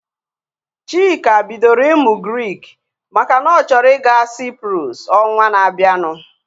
Chika bidoro ịmụ Grik makana ọ chọrọ ịga Cyprus ọnwa na abianu